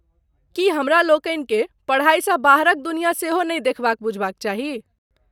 की हमरा लोकनिकेँ पढाईसँ बाहरक दुनिया सेहो नहि देखबाक बुझबाक चाही ?